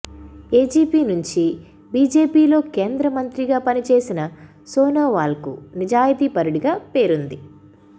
AGP నుంచి బిజెపిలో కేం ద్ర మంత్రిగా పనిచేసిన సోనోవాల్కు నిజాయితీ పరు డిగా పేరుంది